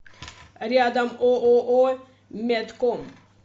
рядом ооо медком